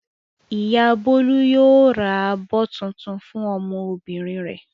Ìyá Bólú yóò ra abọ́ tuntun fún ọmọbìnrin rẹ̀.